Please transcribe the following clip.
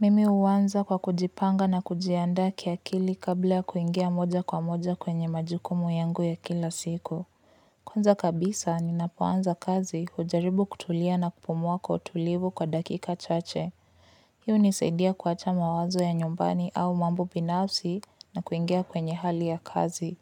Mimi uanza kwa kujipanga na kujiandaa kiakili kabla kuingia moja kwa moja kwenye majukumu yangu ya kila siku. Kwanza kabisa, ninapoanza kazi ujaribu kutulia na kupumua kwa utulivu kwa dakika chache. Hii unisaidia kuacha mawazo ya nyumbani au mambo binafsi na kuingia kwenye hali ya kazi.